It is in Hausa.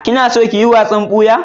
Kina son kiyi wasan boya?